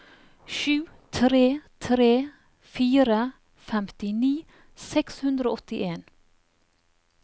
sju tre tre fire femtini seks hundre og åttien